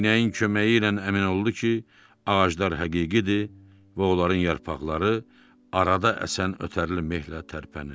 Eynəyin köməyi ilə əmin oldu ki, ağaclar həqiqidir və onların yarpaqları arada əsən ötərli mehllə tərpənir.